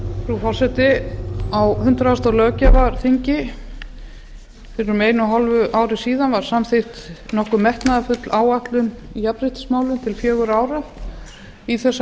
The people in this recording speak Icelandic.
frú forseti á hundrað löggjafarþingi fyrir um einu og hálfu ári síðan var samþykkt nokkuð metnaðarfull áætlun í jafnréttismálum til fjögurra ára í þessa